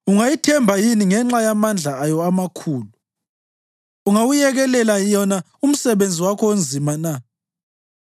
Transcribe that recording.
Ungayithemba yini ngenxa yamandla ayo amakhulu na? Ungawuyekelela yona umsebenzi wakho onzima na?